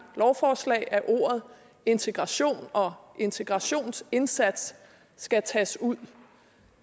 lovforslag at ordet integration og integrationsindsats skal tages ud